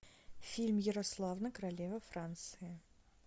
фильм ярославна королева франции